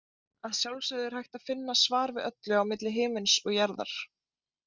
Að sjálfsögðu er hægt að finna svar við öllu á milli himins og jarðar.